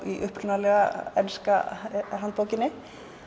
í ensku handbókinni